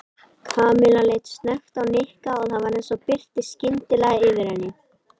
Kamilla leit snöggt á Nikka og það var eins og birti skyndilega yfir henni.